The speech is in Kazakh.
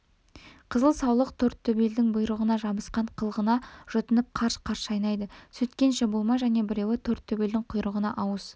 қызыл саулық тортөбелдің құйрығына жабысқан қылғына жұтынып қарш-қарш шайнайды сөйткенше болмай және біреуі тортөбелдің құйрығына ауыз